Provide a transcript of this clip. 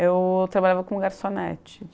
Eu trabalhava como garçonete.